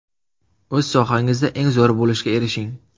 O‘z sohangizda eng zo‘ri bo‘lishga erishing!